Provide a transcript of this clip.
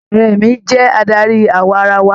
Ààrẹ mí jẹ adarí awarawa.